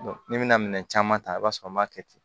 ni bɛna minɛn caman ta i b'a sɔrɔ an b'a kɛ ten